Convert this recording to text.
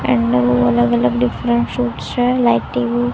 એમનું અલગ અલગ ડિફરન્ટ શૂટ્સ છે લાઈક ટી_વી .